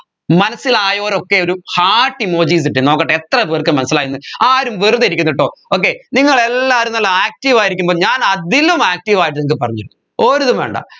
മനസ്സിലായവരൊക്കെ ഒരു heart emojis ഇട്ടെ നോക്കട്ടെ എത്ര പേർക്ക് മനസ്സിലായെന്ന് ആരും വെറുതെ ഇരിക്കരുതാട്ടോ okay നിങ്ങൾ എല്ലാവരും നല്ല active ആയി ഇരിക്കുമ്പോ ഞാൻ അതിലും active ആയിട്ടുണ്ട് പറഞ്ഞൊ ഒരിതും വേണ്ട